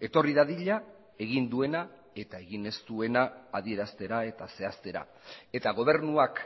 etorri dadila egin duena eta egin ez duena adieraztera eta zehaztera eta gobernuak